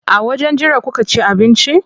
A wajen jira kuka ci abinci?